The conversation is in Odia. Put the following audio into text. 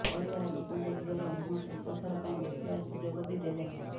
ପରିବାର ଲୋକଙ୍କୁ ଝିଅର ମୁହଁ ଶେଷ ଥର ପାଇଁ ଦେଖିବାର ସୁଯୋଗ ବି ଦେଲେ ନାହିଁ